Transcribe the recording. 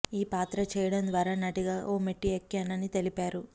ఈ పాత్ర చేయడం ద్వారా నటిగా ఓ మెట్టు ఎక్కాను అనితెలిపారు